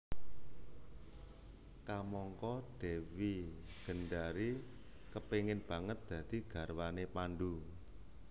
Kamangka Dewi Gendari kepingin banget dadi garwane Pandhu